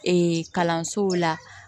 kalansow la